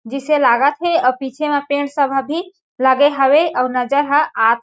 जिसे लागत हे अउ पीछे म पेंट सब ह भी लगे हवे अउ नज़र ह --